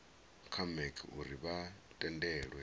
kha mec uri vha tendelwe